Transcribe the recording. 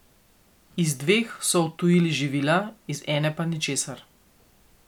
Iz dveh so odtujili živila, iz ene pa ničesar.